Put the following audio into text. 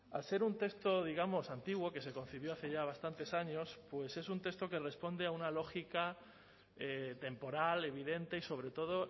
al ser un texto digamos antiguo que se concibió hace ya bastantes años pues es un texto que responde a una lógica temporal evidente y sobre todo